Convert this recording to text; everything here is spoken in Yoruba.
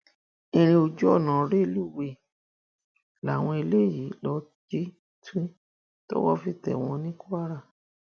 ìrìn ojú ọnà rélùwéè làwọn eléyìí lọọ jí tu tówó fi tẹ wọn ní kwara